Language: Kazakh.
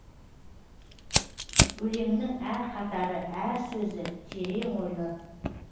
өлеңінің әр қатары әр сөзі терең ойлы